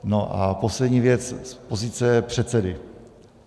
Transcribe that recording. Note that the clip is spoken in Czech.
No a poslední věc z pozice předsedy.